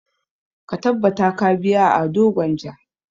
Ka tabbata ka biya Ado Gwanja!